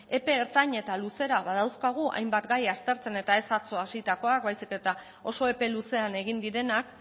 epe ertain eta luzera badauzkagu hainbat gai aztertzen eta ez atzo hasitako baizik eta oso epe luzean egin direnak